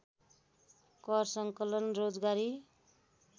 कर सङ्कलन रोजगारी